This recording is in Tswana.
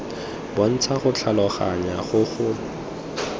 bontsha go tlhaloganya go go